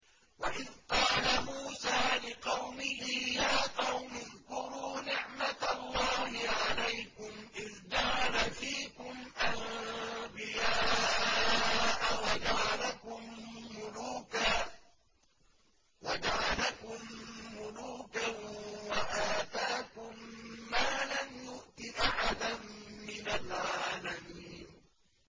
وَإِذْ قَالَ مُوسَىٰ لِقَوْمِهِ يَا قَوْمِ اذْكُرُوا نِعْمَةَ اللَّهِ عَلَيْكُمْ إِذْ جَعَلَ فِيكُمْ أَنبِيَاءَ وَجَعَلَكُم مُّلُوكًا وَآتَاكُم مَّا لَمْ يُؤْتِ أَحَدًا مِّنَ الْعَالَمِينَ